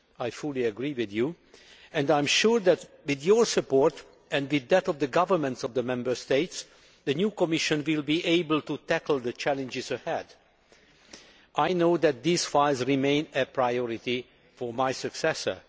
I fully agree with you, and I am sure that, with your support and with that of the governments of the Member States, the new Commission will be able to tackle the challenges ahead. I know that these files remain a priority for my successor.